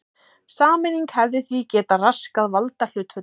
Sameining hefði því getað raskað valdahlutföllum.